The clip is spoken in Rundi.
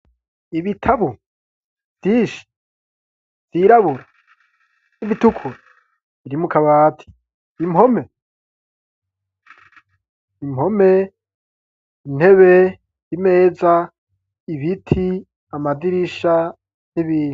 Ibitabo vyinshi vyirabura n'ibitukura biri mukabati impome, impome ,intebe, imeza ibiti amadirisha n'ibindi.